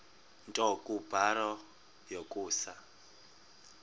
nto kubarrow yokusa